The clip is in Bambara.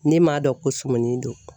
Ne m'a dɔn ko sumuni don